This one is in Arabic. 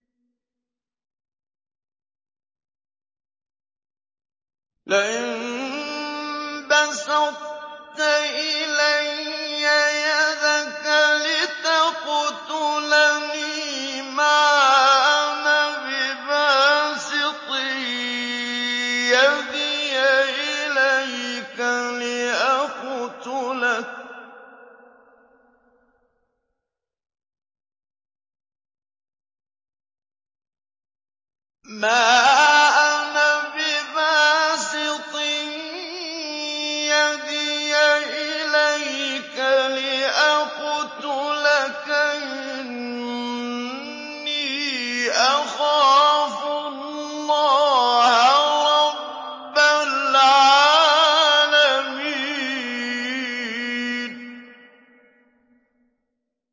لَئِن بَسَطتَ إِلَيَّ يَدَكَ لِتَقْتُلَنِي مَا أَنَا بِبَاسِطٍ يَدِيَ إِلَيْكَ لِأَقْتُلَكَ ۖ إِنِّي أَخَافُ اللَّهَ رَبَّ الْعَالَمِينَ